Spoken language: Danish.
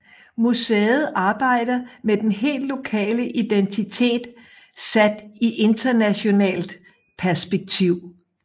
Museet arbejder med den helt lokale identitet sat i internationalt perspektiv